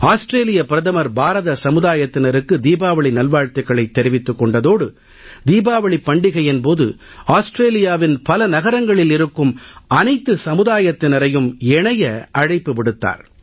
ஆஸ்திரேலிய பிரதமர் பாரத சமுதாயத்தினருக்கு தீபாவளி நல்வாழ்த்துகளைத் தெரிவித்துக் கொண்டதோடு தீபாவளிப் பண்டிகையின் போது ஆஸ்திரேலியாவின் பல நகரங்களில் இருக்கும் அனைத்து சமுதாயத்தினரையும் இணைய அழைப்பு விடுத்தார்